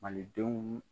Malidenw